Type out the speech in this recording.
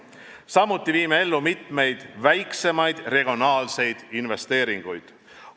Samuti viime ellu mitmeid väiksemaid regionaalseid investeeringuid.